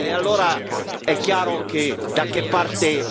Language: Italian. Allora è chiaro che da che parte